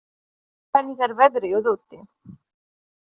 Arndór, hvernig er veðrið úti?